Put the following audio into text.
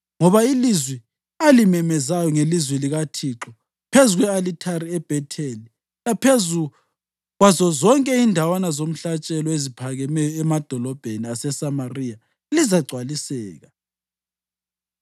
Ngoba ilizwi alimemezelayo ngelizwi likaThixo phezu kwe-alithari eBhetheli laphezu kwazo zonke indawana zomhlatshelo eziphakemeyo emadolobheni aseSamariya lizagcwaliseka.”